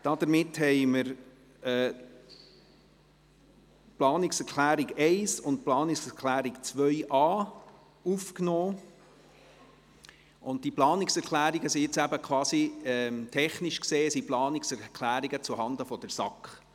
Damit haben wir die Planungserklärungen 1 und 2.a aufgenommen, und diese Planungserklärungen sind jetzt technisch gesehen quasi zuhanden der SAK: